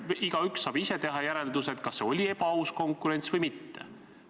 Igaüks saab ise teha järelduse, kas see oli ebaaus konkurents või mitte.